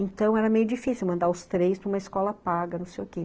Então, era meio difícil mandar os três para uma escola paga, não sei o quê.